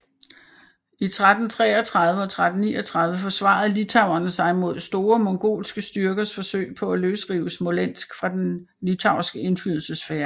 I 1333 og 1339 forsvarede litauerne sig mod store mongolske styrkers forsøg på at løsrive Smolensk fra den litauiske indflydelsessfære